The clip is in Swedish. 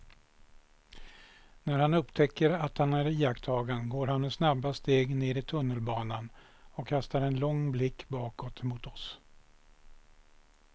När han upptäcker att han är iakttagen går han med snabba steg ner i tunnelbanan och kastar en lång blick bakåt mot oss.